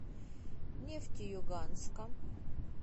нефтеюганска